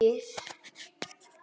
Kyngir og kyngir.